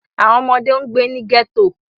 Awọn ọmọde n gbe ni ghetto.